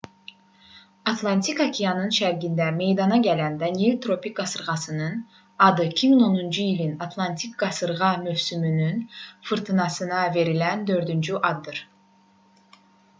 atlantik okeanının şərqində meydana gələn danielle tropik qasırğasının adı 2010-cu ilin atlantik qasırğa mövsümünün fırtınasına verilən dördüncü addır